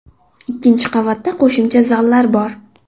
Ikkinchi qavatda qo‘shimcha zallar bor.